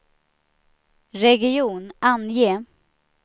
region, ange